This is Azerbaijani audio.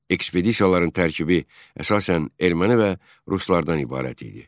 Ekspedisiyaların tərkibi əsasən erməni və ruslardan ibarət idi.